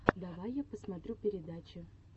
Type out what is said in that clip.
давай я посмотрю передачи